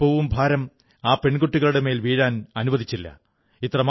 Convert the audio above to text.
അല്പവും ഭാരം ആ പെൺകുട്ടികളുടെ മേൽ വീഴാനനുവദിച്ചില്ല